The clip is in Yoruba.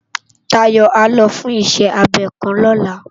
Dayo á lò fùn iṣè ábé òkán lòlá